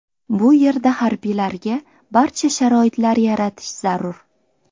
Bu yerda harbiylarga barcha sharoitlar yaratish zarur.